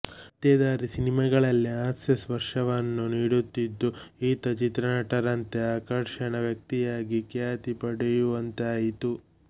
ಪತ್ತೇದಾರಿ ಸಿನಿಮಾಗಳಲ್ಲಿ ಹಾಸ್ಯಸ್ಪರ್ಶವನ್ನು ನೀಡುತ್ತಿದ್ದುದು ಈತ ಚಿತ್ರನಟರಂತೆ ಆಕರ್ಷಣಾ ವ್ಯಕ್ತಿಯಾಗಿ ಖ್ಯಾತಿ ಪಡೆಯುವಂತಾಯಿತು